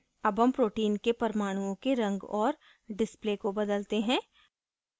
अब हम protein के परमाणुओं के रंग और display को बदलते हैं